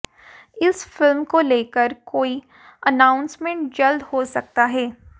इस फिल्म को लेकर कोई अनाउंसमेंट जल्द हो सकता है